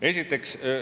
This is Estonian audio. Esiteks ...